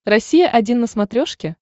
россия один на смотрешке